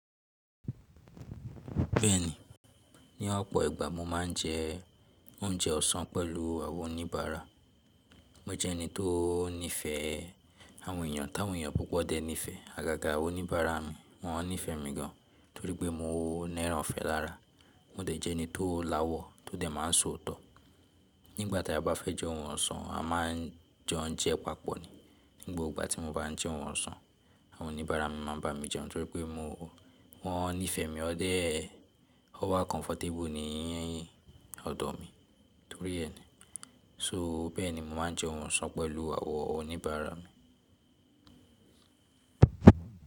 Bẹ́ẹ̀ni, ní ọ̀pọ̀ ìgbà mo máa ń jẹ oúnjẹ ọ̀sán pẹ̀lú àwọn oníbàárà. Mo jẹ́ ẹni tó nífẹ̀ẹ́ àwọn èèyàn, táwọn èèyàn púpọ̀ dẹ níìfẹ́. Àgàgà àwọn oníbàárà mi, wọ́n nífẹ̀ẹ́ mi gan, torí pé mo nẹ́ran ìfẹ́ lára. Mo dẹ̀ jẹ́ ẹni tó lawọ́, tó dẹ̀ máa ń sọ́ òótọ́. Nígbà tí a bá fẹ́ jẹ oúnjẹ ọ̀sán, a máa ń jẹun jẹ papọ̀ ni. Ní gbogbo tí mo bá ń jẹ oúnjẹ ọ̀sán, àwọn oníbàárà mi máa ń bá mi jẹun torí pé wọ́n nífẹ̀ẹ́ mi ọ́ọ́dẹ́. Ọ wá comfortable nì ọ̀dọ̀ mi torí ẹ ni. So bẹ́ẹ̀ni mo máa ń jẹ oúnjẹ ọ̀sán pẹ̀lú àwọn oníbàárà mi.